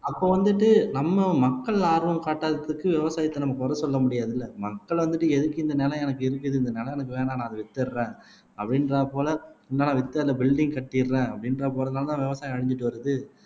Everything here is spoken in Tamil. அப்ப வந்துட்டு நம்ம மக்கள் ஆர்வம் காட்டாததுக்கு விவசாயத்தை நம்ம குறை சொல்ல முடியாது இல்லை மக்கள் வந்துட்டு எதுக்கு இந்த நிலம் எனக்கு இருக்குது இந்த நிலம் எனக்கு வேணாம் நான் அதை வித்துடுறேன் அப்படின்றது போல நான் வித்து அந்த பில்டிங் கட்டிடுறேன் அப்படின்ற போறதுனாலதான் விவசாயம் அழிஞ்சிட்டு வருது